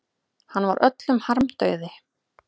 Hann var öllum harmdauði.